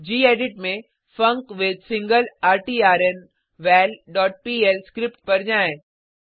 gedit में func with single ret val dot PL script पर जाएँ